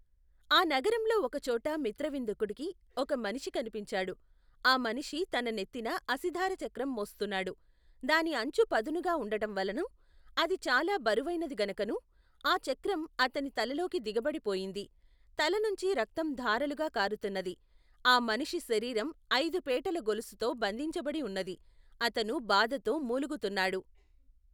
ఆ నగరంలో ఒక చోట మిత్రవిందకుడికి ఒక మనిషి కనిపించాడు. ఆ మనిషి తన నెత్తిన అసిధారాచక్రం మోస్తున్నాడు, దాని అంచు పదునుగా ఉండటంవల్లనూ, అది చాలా బరువైనది గనుకనూ, ఆ చక్రం అతని తలలోకి దిగబడి పోయింది. తల నుంచి రక్తం ధారలుగా కారుతున్నది. ఆ మనిషి శరీరం అయిదు పేటల గొలుసుతో బంధించబడి ఉన్నది. అతను భాధతో మూలుగుతున్నాడు.